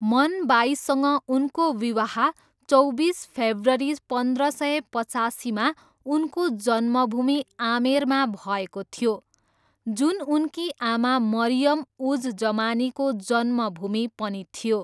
मन बाईसँग उनको विवाह चौबिस फेब्रुअरी पन्ध्र सय पचासीमा उनको जन्मभूमि आमेरमा भएको थियो जुन उनकी आमा मरियम उज जमानीको जन्मभूमि पनि थियो।